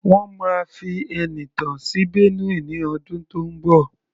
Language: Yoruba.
Wọ́n máa fi Ẹniìtàn sí Benue ní ọdún tó ń bọ̀.